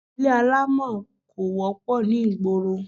Ilé alámọ̀ kò wọ́pọ̀ ní ìgboro